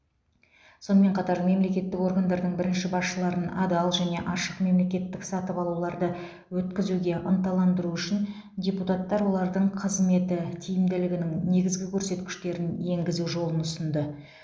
сонымен қатар мемлекеттік органдардың бірінші басшыларын адал және ашық мемлекеттік сатып алуларды өткізуге ынталандыру үшін депутаттар олардың қызметі тиімділігінің негізгі көрсеткіштерін енгізу жолын ұсынды